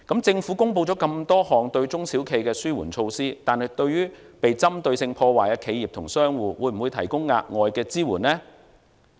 政府公布了多項對中小企的紓緩措施，但對於被針對性破壞的企業及商戶，會否提供額外的支援呢？